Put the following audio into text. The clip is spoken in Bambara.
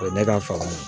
O ye ne ka fanga ye